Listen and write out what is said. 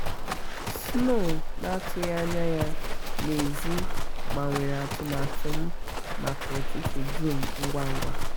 snow na-atụghị anya ya n'èzí gbanwere atụmatụ m maka ụtụtụ dum ngwa ngwa